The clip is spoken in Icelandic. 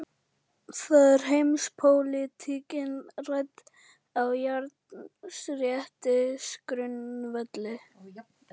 Bylgja eins og brotlent, sama andlit útvarpar heilli ævisögu.